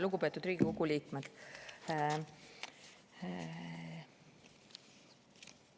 Lugupeetud Riigikogu liikmed!